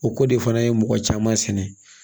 O ko de fana ye mɔgɔ caman sɛnɛ